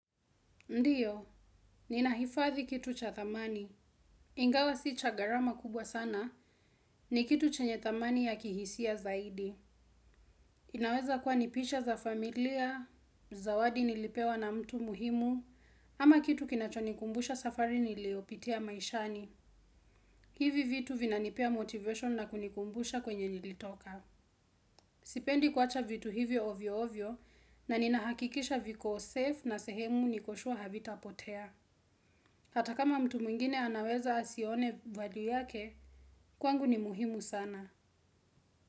Ndiyo, ninahifadhi kitu cha thamani. Ingawa si cha gharama kubwa sana, ni kitu chenye thamani ya kihisia zaidi. Inaweza kuwa ni picha za familia, zawadi nilipewa na mtu muhimu, ama kitu kinachonikumbusha safari niliopitia maishani. Hivi vitu vinanipea motivation na kunikumbusha kwenye nilitoka. Sipendi kuacha vitu hivyo ovyo ovyo, na ninahakikisha viko safe na sehemu niko sure havita potea. Hata kama mtu mwingine anaweza asione value yake, kwangu ni muhimu sana.